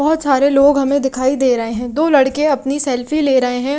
बहोत सारे लोग हमें दिखाई दे रहे हैं दो लड़के अपनी सेल्फी ले रहे हैं।